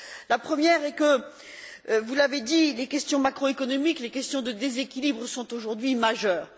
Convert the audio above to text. La première est que, vous l'avez dit, les questions macroéconomiques, les questions de déséquilibre sont aujourd'hui majeures.